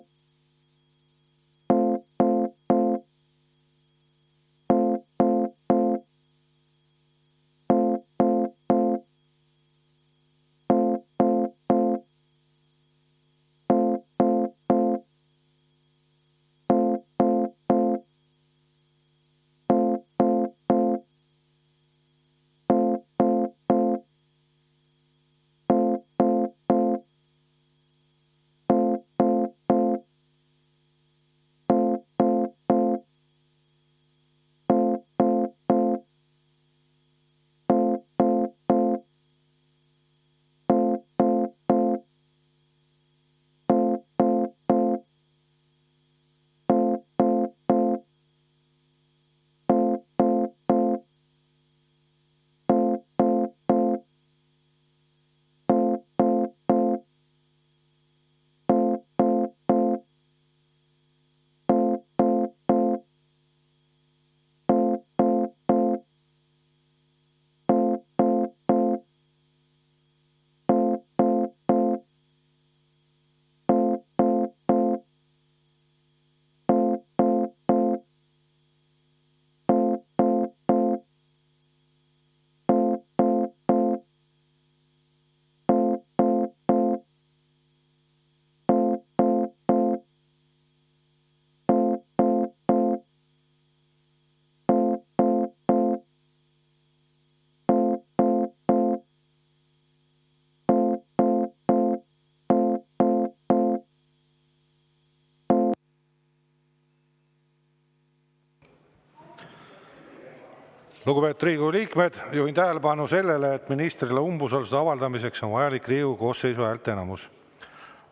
Lugupeetud Riigikogu liikmed, juhin tähelepanu sellele, et ministrile umbusalduse avaldamiseks on vajalik Riigikogu koosseisu häälteenamus.